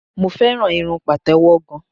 Mo fẹ́ràn irun Pàtẹ́wọ́ gan.